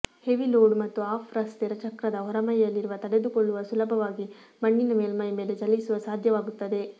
heavy load ಮತ್ತು off ರಸ್ತೆ ಚಕ್ರದ ಹೊರಮೈಯಲ್ಲಿರುವ ತಡೆದುಕೊಳ್ಳುವ ಸುಲಭವಾಗಿ ಮಣ್ಣಿನ ಮೇಲ್ಮೈ ಮೇಲೆ ಚಲಿಸುವ ಸಾಧ್ಯವಾಗುತ್ತದೆ